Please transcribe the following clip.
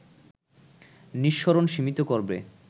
নিঃসরণ সীমিত করবে